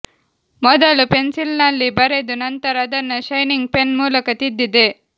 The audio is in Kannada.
ಮೊದಲು ಪೆನ್ಸಿಲ್ನಲ್ಲಿ ಬರೆದು ನಂತರ ಅದನ್ನ ಶೈನಿಂಗ್ ಪೆನ್ ಮೂಲಕ ತಿದ್ದಿದೆ